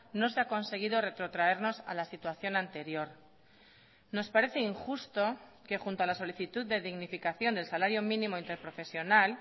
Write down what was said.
no se ha conseguido retrotraernos a la situación anterior nos parece injusto que junto a la solicitud de dignificación del salario mínimo interprofesional